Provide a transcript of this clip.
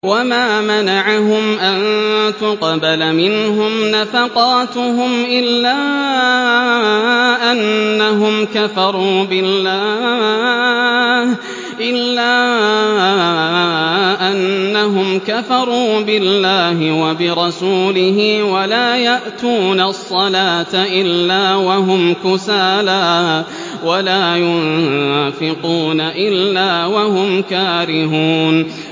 وَمَا مَنَعَهُمْ أَن تُقْبَلَ مِنْهُمْ نَفَقَاتُهُمْ إِلَّا أَنَّهُمْ كَفَرُوا بِاللَّهِ وَبِرَسُولِهِ وَلَا يَأْتُونَ الصَّلَاةَ إِلَّا وَهُمْ كُسَالَىٰ وَلَا يُنفِقُونَ إِلَّا وَهُمْ كَارِهُونَ